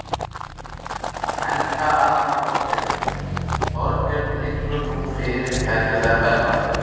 Helga Arnardóttir: Þorbjörn, liggur nú fyrir hverjar þær verða?